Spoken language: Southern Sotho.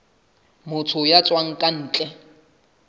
motho ya tswang ka ntle